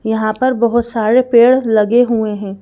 यहां पर बहुत सारे पेड़ लगे हुए हैं।